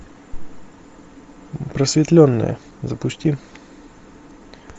просветленные запусти